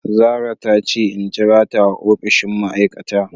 Zarah tace in jirata a opishin ma aikata.